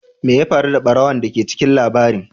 Me ya faru da barawon da ke cikin labarin?